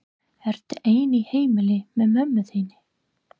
Ertu ein í heimili með mömmu þinni?